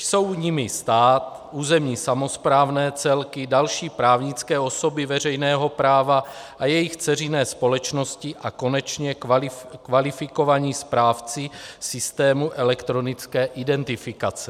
Jsou jimi stát, územní samosprávné celky, další právnické osoby veřejného práva a jejich dceřiné společnosti a konečně kvalifikovaní správci systémů elektronické identifikace.